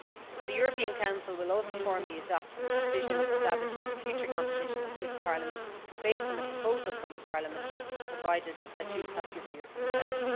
And the European Council will also formally adopt the decision establishing the future composition of this Parliament, based on a proposal from Parliament, provided that you have given your consent.